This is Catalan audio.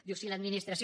diu si l’administració